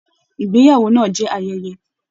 Ìgbéyàwó náà jẹ ayẹyẹ.